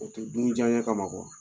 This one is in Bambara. O tɛ dun i diyɛn kama